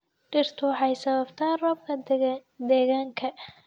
Dhirtu waxay sababtaa roobka deegaanka.